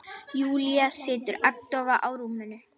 Júlía situr agndofa á rúminu.